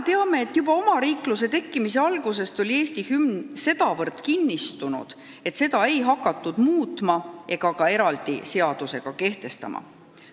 Teame, et juba omariikluse tekkimise algusest peale oli Eesti hümn sedavõrd kinnistunud, et seda ei hakatud muutma ega ka eraldi seadusega kehtestama.